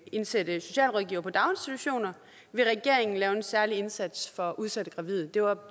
indsætte socialrådgivere på daginstitutioner vil regeringen lave en særlig indsats for udsatte gravide det var